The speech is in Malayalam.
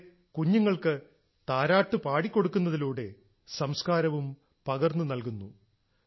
ഇവിടെ കുഞ്ഞുങ്ങൾക്ക് താരാട്ടു പാടിക്കൊടുക്കുന്നതിലൂടെ സംസ്ക്കാരവും പകർന്നു നൽകുന്നു